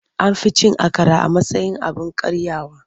An fi cin akara a matsayin abin karyawa.